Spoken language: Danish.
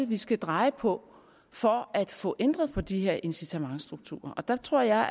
vi skal dreje på for at få ændret på de her incitamentsstrukturer der tror jeg